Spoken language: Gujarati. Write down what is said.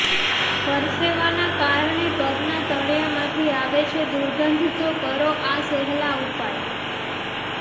પરસેવાના કારણે પગના તળિયામાંથી આવે છે દુર્ગંધ તો કરો આ સહેલા ઉપાય